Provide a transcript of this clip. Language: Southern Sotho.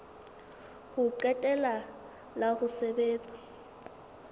ho qetela la ho sebetsa